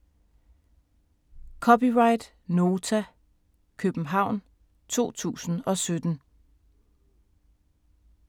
(c) Nota, København 2017